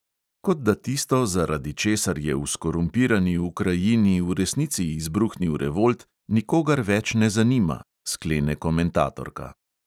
Kot da tisto, zaradi česar je v skorumpirani ukrajini v resnici izbruhnil revolt, nikogar več ne zanima, sklene komentatorka.